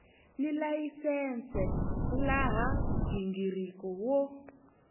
ni layisense laha nghingiriko wo